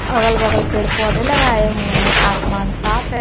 अगल बगल पेड़ पौधे लगाए हुए हैं आसमान साफ है।